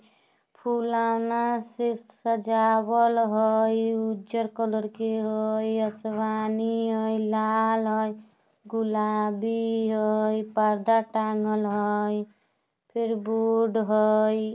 फुलोना से सजावल हाई उजर कलर के हाई आसमानी हाई लाल हाई गुलाबी हाई पर्दा तंग्गल हाई फिर बोर्ड हाई।